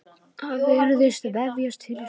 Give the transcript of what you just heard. Það virðist vefjast fyrir sumum.